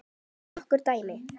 Nokkur dæmi.